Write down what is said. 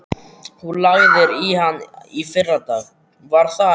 Þú lagðir í hann í fyrradag, var það ekki?